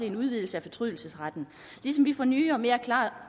en udvidelse af fortrydelsesretten ligesom vi får nye og mere klare